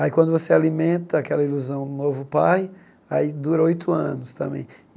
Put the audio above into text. Aí, quando você alimenta aquela ilusão do novo pai, aí dura oito anos também.